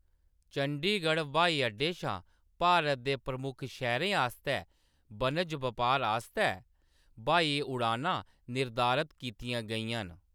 चंडीगढ़ ब्हाई अड्डे शा भारत दे प्रमुख शैह्‌‌‌रें आस्तै बनज-बपार आस्तै ब्हाई उड़ानां निर्धारत कीतियां गेइयां न।